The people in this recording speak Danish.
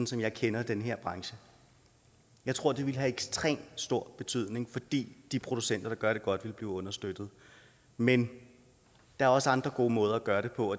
som jeg kender den her branche jeg tror at det vil have ekstremt stor betydning fordi de producenter der gør det godt vil blive understøttet men der er også andre gode måder at gøre det på